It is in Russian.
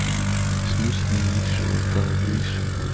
в смысле ниже он там выше